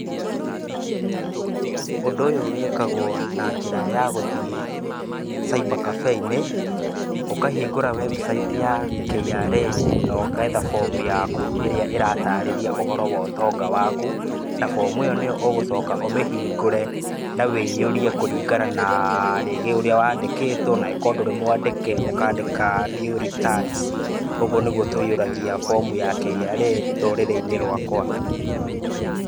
Ũndũ ũyũ wĩkagwo na njĩra ya gũthiĩ cyber cafe inĩ, ũkahingũra website ya KRA na ũgetha bomu yaku ĩrĩa ĩratarĩria ũhoro wa ũtonga waku, na bomu ĩyo nĩyo ũgũcoka ũmĩhingũre na ũihũrie kũringana na rĩngĩ ũrĩa wandĩkĩtwo na angĩkorwo ndũrĩ mwandĩke ũkandĩka nill returns. Ũguo nĩguo tũihũragia bomu ya KRA rũrĩrĩ-inĩ rwakwa.